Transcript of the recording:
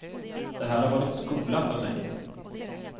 Det här har varit skola för mig.